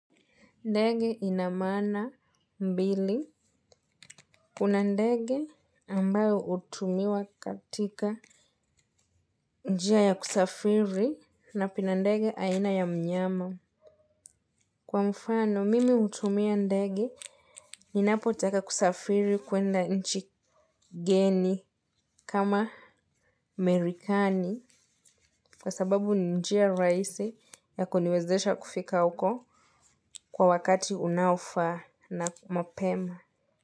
Ndege ina maana mbili. Kuna ndege ambayo hutumiwa katika njia ya kusafiri na kuna ndege aina ya mnyama. Kwa mfano, mimi hutumia ndege ninapotaka kusafiri kuenda nchi geni kama amerikani. Kwa sababu njia rahisi ya kuniwezesha kufika uko kwa wakati unaofaa na mapema.